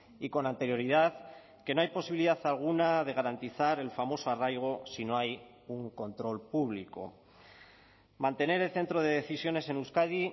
y con anterioridad que no hay posibilidad alguna de garantizar el famoso arraigo si no hay un control público mantener el centro de decisiones en euskadi